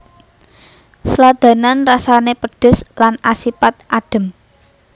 Sladanan rasane pedhes lan asipat adhem